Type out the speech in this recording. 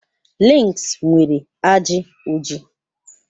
Links nwere ajị oji.